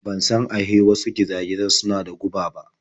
Ban san ahe wasu giza-gizan suna da guba ba.